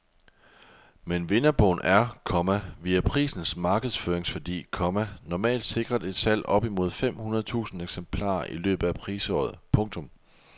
Men vinderbogen er, komma via prisens markedsføringsværdi, komma normalt sikret et salg op imod fem hundrede tusind eksemplarer i løbet af prisåret. punktum